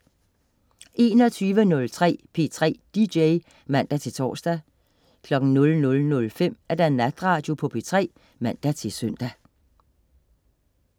21.03 P3 DJ (man-tors) 00.05 Natradio på P3 (man-søn)